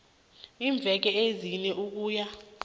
iimveke ezine ukuya